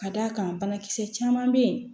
Ka d'a kan banakisɛ caman bɛ yen